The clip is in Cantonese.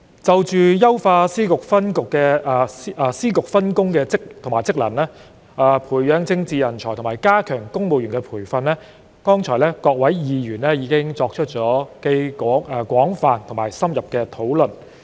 就優化司局分工及職能、培養政治人才及加強公務員培訓方面，各位議員剛才已作出既廣泛且深入的討論。